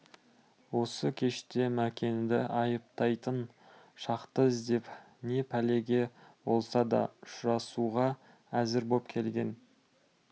осы кеште мәкенді айыптайтын шақты іздеп не пәлеге болса да ұшырасуға әзір боп келген